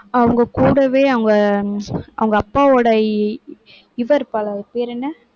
அவங்க கூடவே அவங்க, அவங்க அப்பாவோட இவ இருப்பாளே அவ பேர் என்ன?